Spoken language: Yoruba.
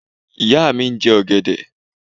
Ìyá mi ń jẹ ọ̀gẹ̀dẹ̀.